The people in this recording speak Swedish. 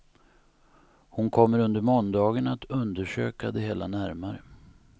Hon kommer under måndagen att undersöka det hela närmare.